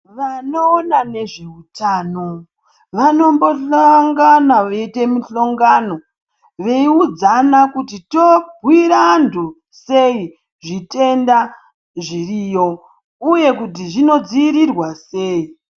Vanoona nezveutano ,vanombohlongana veiite muhlongano, veiudzana kuti tobhuira antu sei zvitenda zviriyo, uye kuti zvinodziirirwa sei.